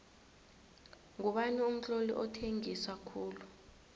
ngubani umtloli othengisa khulu